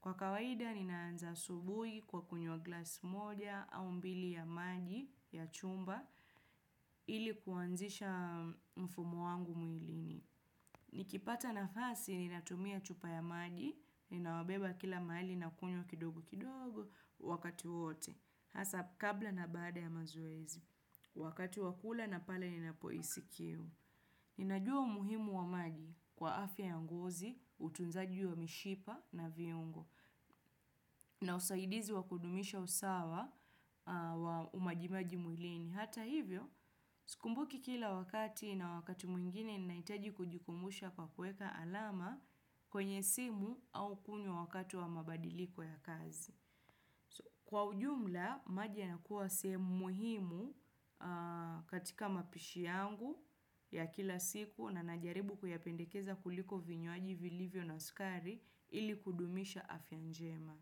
Kwa kawaida ni naanza asubuhi kwa kunywa glass moja au mbili ya maji ya chumba ili kuanzisha mfumo wangu mwilini. Ni kipata na fasi ni natumia chupa ya maji ninayobeba kila mahali na kunywa kidogo kidogo wakati wote. Hasa kabla na bada ya mazoezi, wakati wakula na pala ninapohisikiu. Ninajua umuhimu wa maji kwa afya yangozi, utunzaji wa mishipa na viungo, na usaidizi wa kudumisha usawa wa umajimaji mwilini. Hata hivyo, skumbuki kila wakati na wakati mwingine ninaitaji kujikumbusha kwa kueka alama kwenye simu au kunywa wakati wa mabadiliko ya kazi. Kwa ujumla, maji na kuwa sehemu muhimu katika mapishi yangu ya kila siku na najaribu kuyapendekeza kuliko vinywaji vilivyo na sukari ili kudumisha afya njema.